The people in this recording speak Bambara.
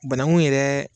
Banangun yɛrɛ